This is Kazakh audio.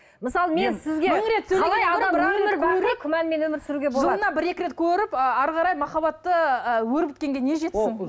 мысалы мен сізге күмәнмен өмір сүруге жылына бір екі рет көріп ы әрі қарай махаббатты ы өрбіткенге не жетсін